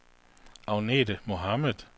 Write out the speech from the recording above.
Agnethe Mohamed